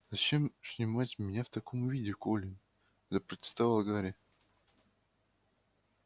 зачем снимать меня в таком виде колин запротестовал гарри